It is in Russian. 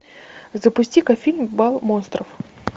запусти ка фильм бал монстров